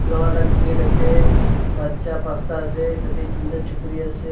loha la gate ase bacha pasta ase tinta chukuri ase.